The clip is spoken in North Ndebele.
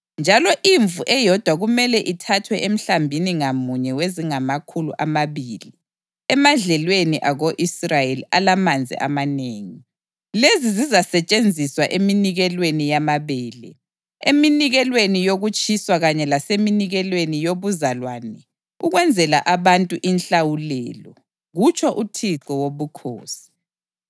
Njalo imvu eyodwa kumele ithathwe emhlambini ngamunye wezingamakhulu amabili emadlelweni ako-Israyeli alamanzi amanengi. Lezi zizasetshenziswa eminikelweni yamabele, eminikelweni yokutshiswa kanye laseminikelweni yobuzalwane ukwenzela abantu inhlawulelo, kutsho uThixo Wobukhosi.